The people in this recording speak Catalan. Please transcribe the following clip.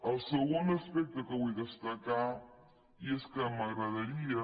el segon aspecte que vull destacar és que m’agradaria